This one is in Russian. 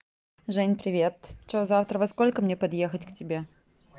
жень привет что завтра во сколько мне подъехать к тебе